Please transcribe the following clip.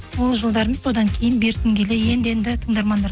ол жылдары емес одан кейін бертін келе енді енді тыңдармандар